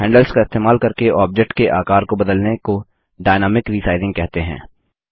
handles का इस्तेमाल करके ऑब्जेक्ट के आकर को बदलने को डायनामिक रिसाइजिंग कहते हैं